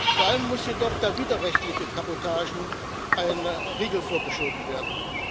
Vor allem muss jedoch der widerrechtlichen Kabotage ein Riegel vorgeschoben werden.